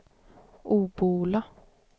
Obbola